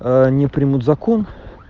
они примут закон